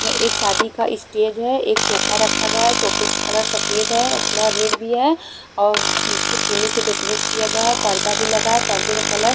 ये एक शादी का स्टेज है एक सोफा रखा गया है सोफे का कलर सफ़ेद है और थोड़ा रेड भी है और पीछे फूलों से डेकोरेट किया गया है पर्दा भी लगा है पर्दा का कलर --